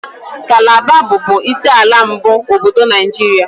Kalaba bụbu isi ala mbụ obodo Naijiria.